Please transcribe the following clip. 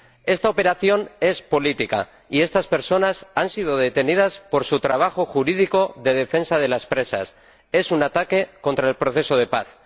Esta operación es política y estas personas han sido detenidas por su trabajo jurídico de defensa de los presos, es un ataque contra el proceso de paz.